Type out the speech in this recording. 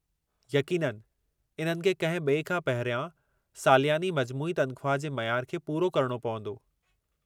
यक़ीननि, इन्हनि खे कंहिं ॿिए खां पहिरियां सालियानी मजमूई तनख़्वाह जे मयार खे पूरो करणो पंवदो।